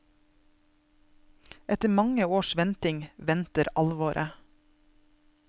Etter mange års venting, venter alvoret.